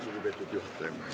Lugupeetud juhataja!